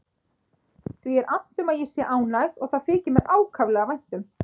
Því er annt um að ég sé ánægð og það þykir mér ákaflega vænt um.